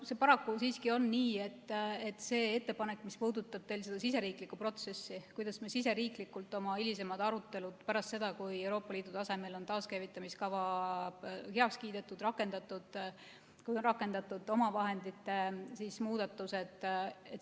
See paraku siiski on nii, et see ettepanek puudutab teil seda protsessi, kuidas me riigi sees oma hilisemad arutelud peame, pärast seda kui Euroopa Liidu tasemel on taaskäivitamiskava heaks kiidetud ja rakendatud ning kui on rakendatud omavahendite muudatused.